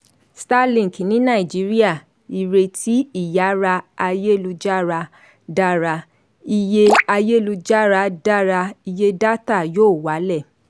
starlink ní nàìjíríà: ìrètí ìyára ayélujára dára iye ayélujára dára iye dátà yóò wálẹ̀.